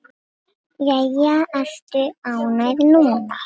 Jæja, ertu ánægð núna?